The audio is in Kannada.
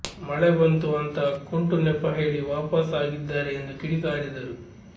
ಮಳೆ ಬಂತು ಅಂತ ಕುಂಟು ನೆಪ ಹೇಳಿ ವಾಪಸ್ ಆಗಿದ್ದಾರೆ ಎಂದು ಕಿಡಿಕಾರಿದರು